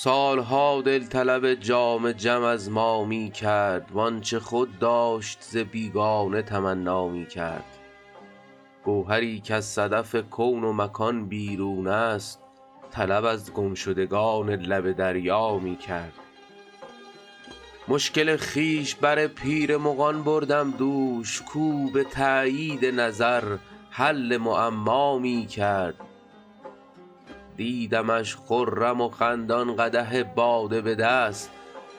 سال ها دل طلب جام جم از ما می کرد وآنچه خود داشت ز بیگانه تمنا می کرد گوهری کز صدف کون و مکان بیرون است طلب از گمشدگان لب دریا می کرد مشکل خویش بر پیر مغان بردم دوش کاو به تأیید نظر حل معما می کرد دیدمش خرم و خندان قدح باده به دست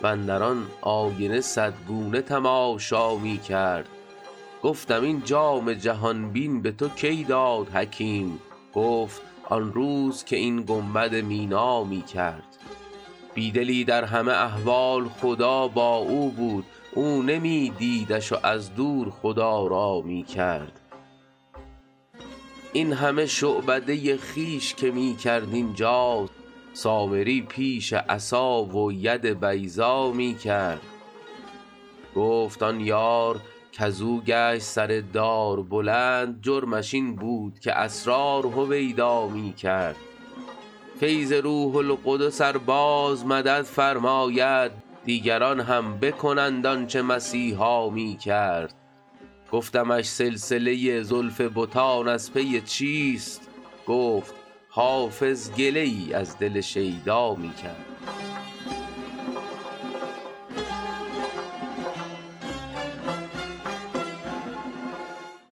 واندر آن آینه صد گونه تماشا می کرد گفتم این جام جهان بین به تو کی داد حکیم گفت آن روز که این گنبد مینا می کرد بی دلی در همه احوال خدا با او بود او نمی دیدش و از دور خدارا می کرد این همه شعبده خویش که می کرد اینجا سامری پیش عصا و ید بیضا می کرد گفت آن یار کز او گشت سر دار بلند جرمش این بود که اسرار هویدا می کرد فیض روح القدس ار باز مدد فرماید دیگران هم بکنند آن چه مسیحا می کرد گفتمش سلسله زلف بتان از پی چیست گفت حافظ گله ای از دل شیدا می کرد